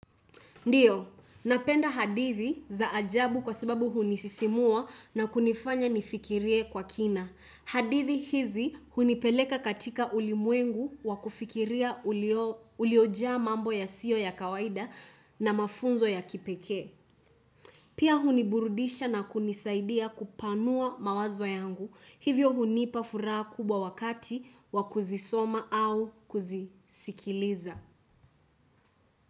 Ndio, napenda hadithi za ajabu kwa sababu huni sisimua na kunifanya nifikirie kwa kina. Hadithi hizi hunipeleka katika ulimwengu wa kufikiria ulio ja mambo ya siyo ya kawaida na mafunzo ya kipeke. Pia huniburudisha na kunisaidia kupanua mawazo yangu. Hivyo hunipa furaha kubwa wakati wa kuzisoma au kuzisikiliza.